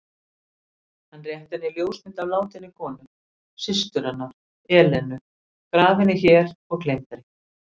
Hann rétti henni ljósmynd af látinni konu: systur hennar, Elenu, grafinni hér og gleymdri.